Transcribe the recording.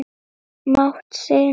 mátt sinn.